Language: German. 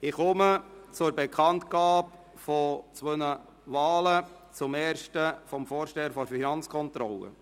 Ich komme zur Bekanntgabe von zwei Wahlen, zuerst zu jener des Vorstehers der Finanzkontrolle.